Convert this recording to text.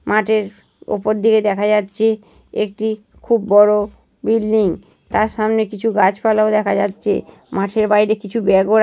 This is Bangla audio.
মাঠের উপর দিকে দেখা যাচ্ছে একটি খুব বড় বিল্ডিং তার সামনে কিছু গাছপালাও দেখা যাচ্ছে মাঠের বাইরে কিছু ব্যাগ -ও রা--